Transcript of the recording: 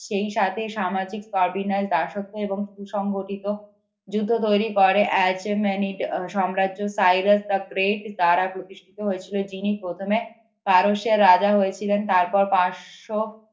সেই সাথে সামাজিক কর বিন্যাস দাসত্ব এবং সুসংগঠিত যুদ্ধ তৈরি করে সাম্রাজ্যের দ্বারা প্রতিষ্ঠিত হয়েছিল যিনি প্রথমে পারস্যের রাজা হয়েছিলেন তারপর পাঁচ শ